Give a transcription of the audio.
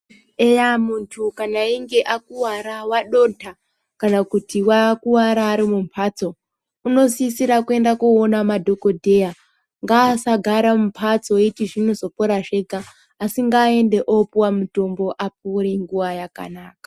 Eya muntu kana einge akuwara wadonha kana kuti wakuvara ari mumbatso, unosisira kuenda koona madhokodheya. Ngaasagara mumbatso eiti zvinozopora zvega, Asi ngaaende opiwa mutombo apore nguva yakanaka.